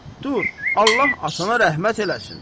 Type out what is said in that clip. Dur, Allah atana rəhmət eləsin!